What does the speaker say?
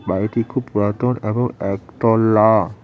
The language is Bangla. বাড়িটি খুব পুরাতন এবং একতলা।